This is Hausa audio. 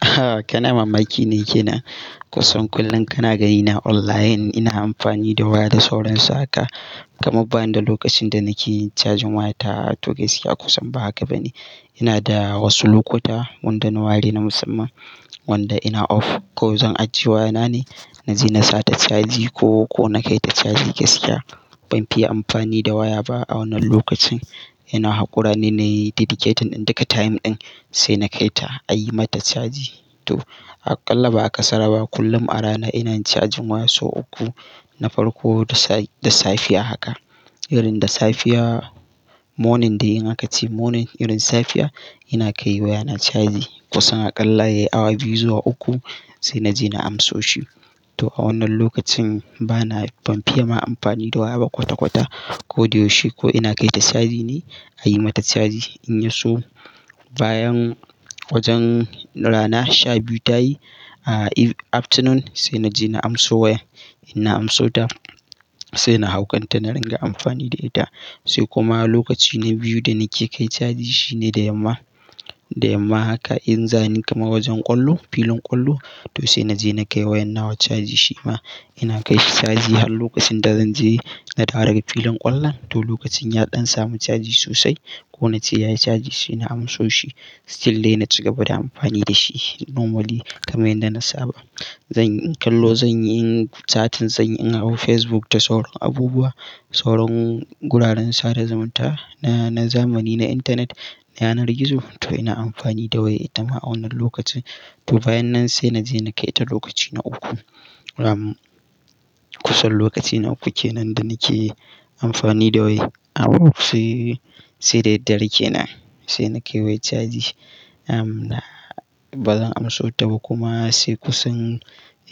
Ah, kana mamaki ne kenan. Kusan kullum kana gani na online. Ina amfani da waya da sauran su haka. Kaman bani da lokacin da nake yi cajin wayata, to gaskiya kusan ba haka ba ne. Ina da wasu lokuta wanda na ware na musamman wanda ina off. Ko zan ajiye waya nane, naje in sa ta caji ko, ko na kai ta caji gaskiya banfi yi amfani da waya ba a wannan lokacin. Ina haƙura ne na dedicating duka time ɗin sai na kai ta a yi mata caji. To aƙalla ba a kasara ba kullum a rana ina cajin waya sau uku. Na farko da safiya haka, irin da safiya morning dai in aka ce morning irin safiya ina kai waya na caji. Kusan aƙalla yayi awa biyu zuwa uku sai naje na amso shi. To a wannan lokacin bana banfi ye ma amfani da waya ba kwata-kwata ko da yaushe. Ko ina kai ta caji ne a yi mata caji in ya so bayan wajen rana sha biyu tayi ah afternoon sai naje na amso waya. In na amso ta sai na hauƙanta na ringa amfani da ita. Sai kuma lokaci na biyu da nake kai caji shine da yamma. Da yamma haka in zan ni kamar wajen ƙwallo, filin ƙwallo to sai naje na kai wayan na wa caji shi ma. Ina kai shi caji har lokacin da zanje na dawo daga filin ƙwallon to lokacin ya ɗan samu caji sosai ko nace yayi caji sai na amso shi. Still dai na cigaba da amfani da shi normally kamar yadda na saba. Zanyi kallo, zanyi catin, zan yi in hau Facebook da sauran abubuwa, sauran guraren sada zumunta na zamani, na intanet, na yanar gizo. To ina amfani da waya ita ma a wannan lokacin. To bayan nan sai naje na kai ta lokaci na uku. Aum kusan lokaci na uku kenan da nake yi amfani da waya. Abu sai sai da daddare kenan sai nake waya caji. Am na bazan amso ta ba kuma sai kusan